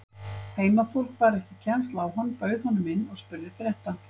Heimafólk bar ekki kennsl á hann, bauð honum inn og spurði frétta.